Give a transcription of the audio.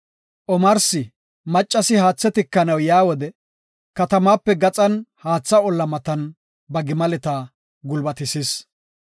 Omarsi, maccasi haathe tikanaw yaa wode, katamaape gaxan haatha olla matan ba gimaleta gulbatisis.